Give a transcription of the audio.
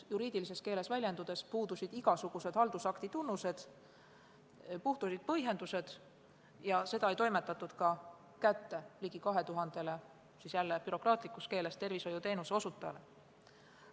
Juriidilises keeles väljendudes puudusid kirjal igasugused haldusakti tunnused, puudusid põhjendused ja seda ei toimetatud kätte ligi kahele tuhandele – jälle bürokraatlikus keeles väljendudes – tervishoiuteenuse osutajale.